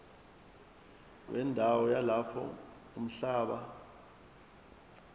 wendawo yalapho umhlaba